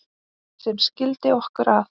sem skildi okkur að